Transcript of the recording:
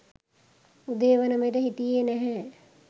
උදේ වනවිට හිටියේ නැහැ.